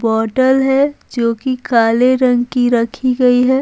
Bottle है जो कि काले रंग की रखी गई है।